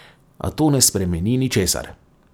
A to ne spremeni ničesar.